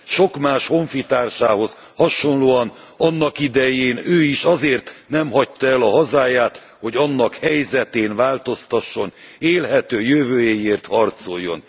Sok más honfitársához hasonlóan, annakidején ő is azért nem hagyta el a hazáját, hogy annak helyzetén változtasson, élhető jövőjéért harcoljon.